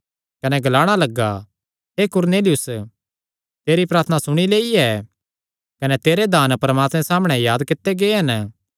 कने ग्लाणा लग्गा हे कुरनेलियुस तेरी प्रार्थना सुणी लेई ऐ कने तेरे दान परमात्मे सामणै याद कित्ते गै हन